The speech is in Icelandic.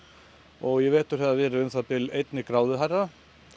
og í vetur hefur verið um það bil einni gráðu hærra